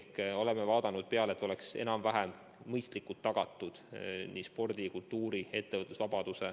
Me oleme arvestanud, et oleks enam-vähem mõistlikult tagatud vabadus nii spordi, kultuuri kui ka ettevõtluse vallas.